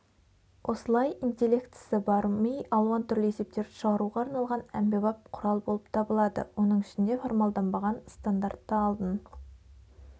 осылай интеллектісі бар ми алуан түрлі есептерді шығаруға арналған әмбебап құрал болып табылады оның ішінде формалданбаған стандартты алдын